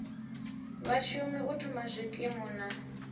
vhashumi u thoma zwikimu na